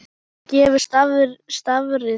Hvað gefur starfið þér?